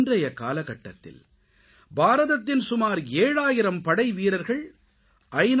இன்றைய காலகட்டத்தில் பாரதத்தின் சுமார் 7000 படைவீரர்கள் ஐ